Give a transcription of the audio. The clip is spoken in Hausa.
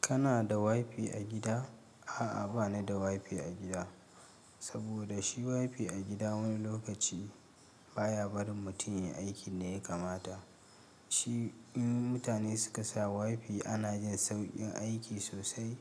Kana da WiFi a gida? A'a, ba ni da WiFi a gida. Saboda shi WiFi a gida wani lokaci, baya barin mutum ya yi aikin da ya kamata. Shi in mutane suka sa WiFi ana jin sauƙin aiki sosai.